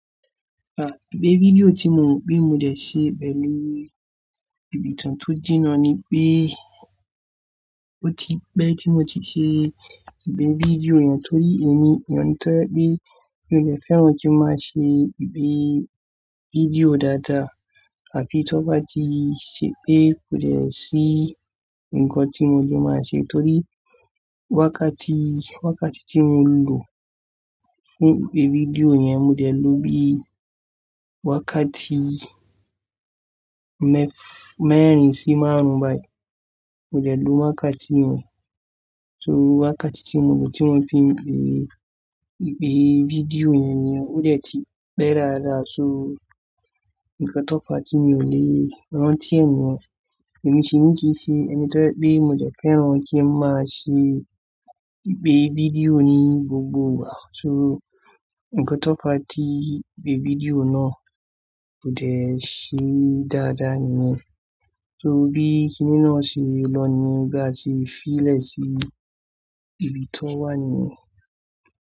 Wipe video tí mo ń gbé mo dé ṣe bẹ́ẹ̀ lórí. Ìbì tán tó jìnà ni pé ó ti pẹ́ tí mo ti ṣe ipe video yẹn torí èmi, ènìyàn tó mọ pé mí ò lè fẹ́ran kí n má ṣe ìpe video dáadáa àbí tó bá ti ṣe pé kò lè ṣì nǹkan tí mo lè má ṣe torí wákàtí, wákàtí tí mo lò fún ìpe video yẹn mo dé lò bí wákàtí mẹ́f-- mẹ́rin sí márùn-ún báyìí. Mo dé lò wákàtí yẹn, so wákàtí tí mo lò tí mo fi ń pe ìpe video yẹn ni ó dé ti pẹ́ dádá so nǹkan tó fá ti mi ò lè rántí ẹ̀ nìyẹn. Ẹ̀ní mi ṣe mí kí ṣe ẹni tó mọ pé mo dé fẹ́ran kí n má ṣe ìpe video ní gbogbo wàhálà so nǹkan tó fá ti ìpé video náà kò dé ṣe dáadáa nìyẹn. So bí kiní náà ṣe lọ ni bí a ti fi lè sí ibi tó wà nìyẹn.